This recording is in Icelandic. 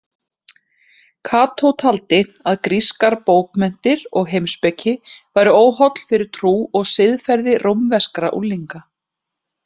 Kató taldi að grískar bókmenntir og heimspeki væru óholl fyrir trú og siðferði rómverskra unglinga.